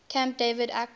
camp david accords